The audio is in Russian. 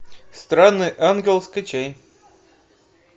странный ангел скачай